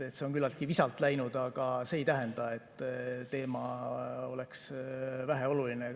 See on küllaltki visalt läinud, aga see ei tähenda, et teema oleks vähe oluline.